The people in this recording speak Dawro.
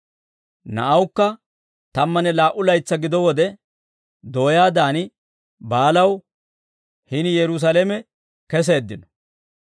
Na'awukka tammanne laa"u laytsaa gido wode dooyaadan baalaw hini Yerusaalame keseeddino.